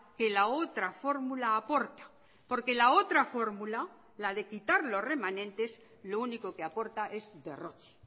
que la otra fórmula aporta porque la otra fórmula la de quitar los remanentes lo único que aporta es derroche